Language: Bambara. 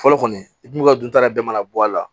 Fɔlɔ kɔni i dun bɛ ka dun ta yɛrɛ mana bɔ a la